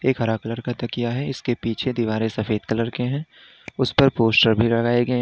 एक हरा कलर का तकिया है इसके पीछे दीवारें सफेद कलर के हैं उस पर पोस्टर भी लगाए गए--